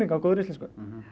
á góðri íslensku